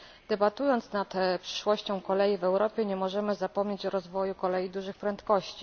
Debatując nad przyszłością kolei w Europie nie możemy zapomnieć o rozwoju kolei dużych prędkości.